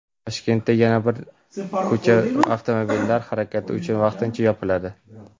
Toshkentdagi yana bir ko‘cha avtomobillar harakati uchun vaqtincha yopiladi.